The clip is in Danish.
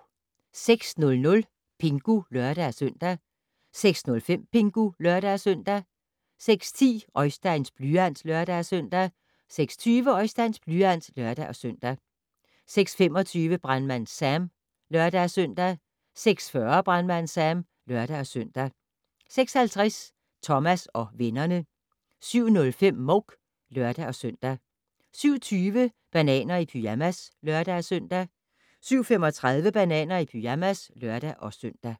06:00: Pingu (lør-søn) 06:05: Pingu (lør-søn) 06:10: Oisteins blyant (lør-søn) 06:20: Oisteins blyant (lør-søn) 06:25: Brandmand Sam (lør-søn) 06:40: Brandmand Sam (lør-søn) 06:50: Thomas og vennerne 07:05: Mouk (lør-søn) 07:20: Bananer i pyjamas (lør-søn) 07:35: Bananer i pyjamas (lør-søn)